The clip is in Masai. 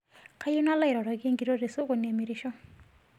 Kayieu nalo airoroki nkitok tesokoni emirisho